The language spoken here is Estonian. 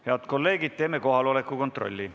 Head kolleegid, teeme kohaloleku kontrolli.